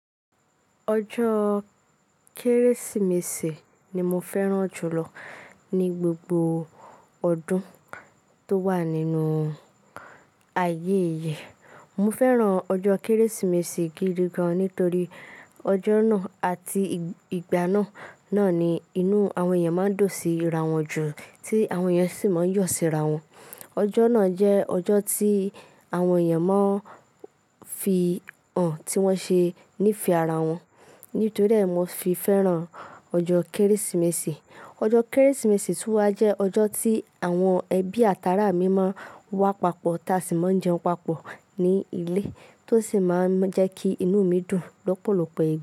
Ọjọ́ kérésìmesì ni mo fẹ́ràn jùlọ ni gbogbo ọdún tó wà nínú ayé yi. Mo fẹ́ràn ọjọ́ kérésìmesì gidi gan nítorí ọjọ́ náà àti ìgbà náà ni inú àwọn èèyàn máa ń dun sí ràwọ́n jù, tí àwọn èèyàn sì máa ń yọ̀ sí ràwọ́n. Ọjọ́ náà jẹ́ ọjọ́ tí àwọn èèyàn máa ń fihàn tí wọ́n ṣe ní fẹ ara wọn, nítorí ẹ̀ mọ fi fẹ́ràn ọjọ kérésìmesì. Ọjọ́ kérésìmesì túwà jẹ́ ọjọ́ tí àwọn ẹbí àtàrà mi máa n wà pàpọ̀ tà sí máa ń jẹun pàpọ̀ ní ilé, tó sì máa ń jẹ́ kí inú mi dùn lọ́pọ́lọ́pọ́ ìgba.